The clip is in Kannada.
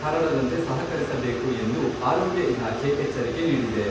ಹರಡದಂತೆ ಸಹಕರಿಸಬೇಕು ಎಂದು ಆರೋಗ್ಯ ಇಲಾಖೆ ಎಚ್ಚರಿಕೆ ನೀಡಿದೆ.